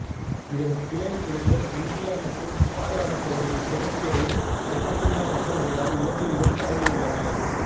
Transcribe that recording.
இதன் கிளை இனங்கள் இந்தியா மற்றும் பாலைவனப்பகுதியின் கிழக்கேவும் தென்னிந்தியா மட்டுமல்லாது இலங்கையிலும் பரவியுள்ளன